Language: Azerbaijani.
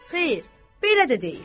Xeyr, belə də deyil.